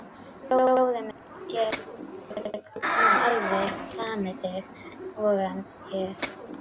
Bróðir minn getur nú alveg lamið þig, voga ég.